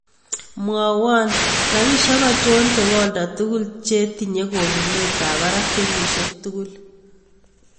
Mwawan rabishek achon chebo oldo tugul chetinye konunet ab barak kenyishek tugul